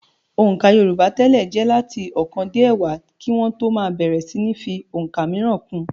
Òǹkà yorùbá tẹ́lẹ̀ jẹ́ láti ọ̀kan dé ẹ̀wá kí wọ́n tó máa bẹ̀rẹ̀ síní fi ọ̀ǹkà mìíràn kún un.